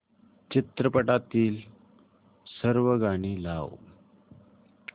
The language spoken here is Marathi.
चित्रपटातील सर्व गाणी लाव